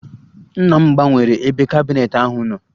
Nna m gbanwere ebe kabineetị ahụ nọ